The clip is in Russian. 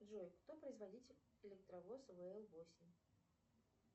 джой кто производитель электровоза вл восемь